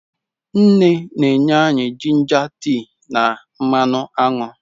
Nne na-enye anyị jinja tea na mmanụ aṅụ.